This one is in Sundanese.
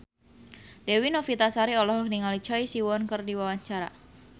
Dewi Novitasari olohok ningali Choi Siwon keur diwawancara